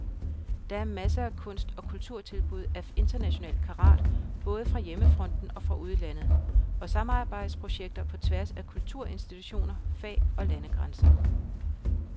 Der er masser af kunst- og kulturtilbud af international karat både fra hjemmefronten og fra udlandet, og samarbejdsprojekter på tværs af kulturinstitutioner, fag- og landegrænser.